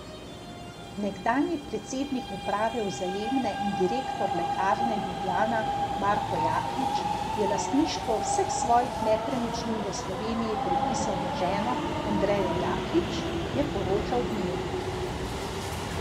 Nekdanji predsednik uprave Vzajemne in direktor Lekarne Ljubljana Marko Jaklič je lastništvo vseh svojih nepremičnin v Sloveniji prepisal na ženo Andrejo Jaklič, je poročal Dnevnik.